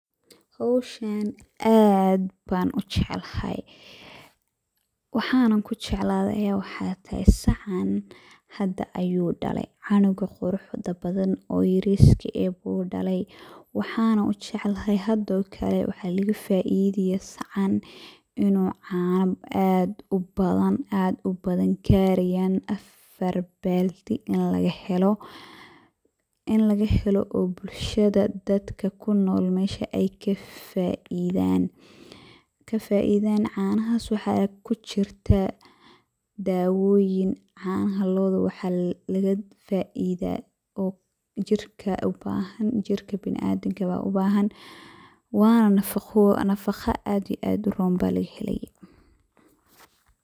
Hawshaan aad baan u jeclahay ,waxaana ku jeclade ayaa waxaa tahay, sacaan hadda ayuu dhale, canuga quruxda badan oo yariska eh buu dhalay, waxaana u jeclahay hadda oo kale waxaa laga faideyaa sacaan inuu caano aad u badan garayaan affar baaldi in laga helo ,in laga helo oo bulshada dadka ku nool meesha ay ka faaidaan, ka faaidaan. Canahaas waxaa ku jnirtaa dawooyin, canaha looda waxaa laga faaidaa oo jirka u bahan ,in jirka biniadanka eh baa u baahan ,waana nafaqo, nafaqa aad iyo aad u roon baa laga helayaa.